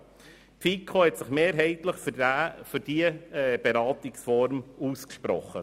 Die FiKo hat sich mehrheitlich für diese Beratungsform ausgesprochen.